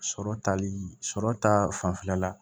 Sɔrɔ tali sɔrɔ ta fanfɛla la